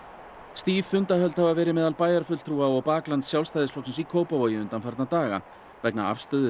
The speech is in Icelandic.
stíf fundahöld hafa verið meðal bæjarfulltrúa og baklands Sjálfstæðisflokksins í Kópavogi undanfarna daga vegna afstöðu